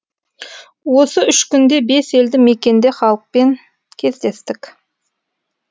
осы үш күнде бес елді мекенде халықпен кездестік